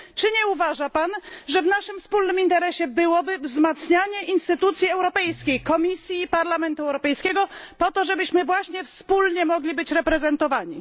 Czy nie uważa pan, że w naszym wspólnym interesie byłoby wzmacnianie instytucji europejskich Komisji i Parlamentu Europejskiego po to, żebyśmy właśnie wspólnie mogli być reprezentowani?